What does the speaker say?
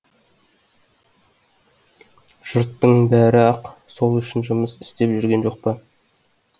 жұрттың бәрі ақ сол үшін жұмыс істеп жүрген жоқ па